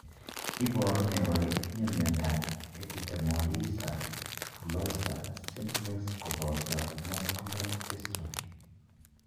Iporu ne kole itinye miondap Epidermolysa bullosa simplex kopoto muscular dystrophy?